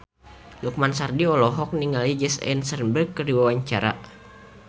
Lukman Sardi olohok ningali Jesse Eisenberg keur diwawancara